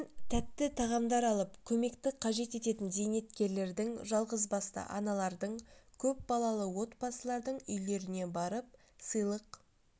мен тәтті тағамдар алып көмекті қажет ететін зейнеткерлердің жалғызбасты аналардың көпбалалы отбасылардың үйлеріне барып сыйлық